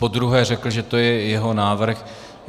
Podruhé řekl, že to je jeho návrh.